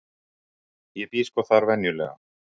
ég bý sko þar venjulega.